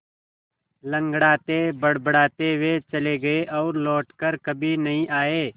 लँगड़ाते बड़बड़ाते वे चले गए और लौट कर कभी नहीं आए